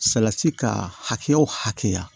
Salati ka hakɛ o hakɛya